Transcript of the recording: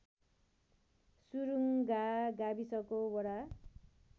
सुरुङ्गा गाविसको वडा